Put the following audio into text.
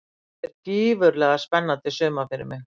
Þetta er gífurlega spennandi sumar fyrir mig.